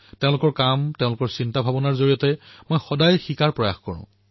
তেওঁলোকে যি কৰি আছে অথবা যি ভাবি আছে সেয়া শিখাৰ বাবে মই সদায়েই প্ৰয়াস কৰোঁ